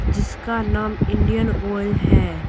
जिसका नाम Indian Oil है।